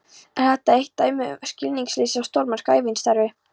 Er þetta enn eitt dæmið um skilningsleysið á stórmerku ævistarfi